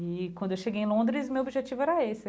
E quando eu cheguei em Londres, meu objetivo era esse.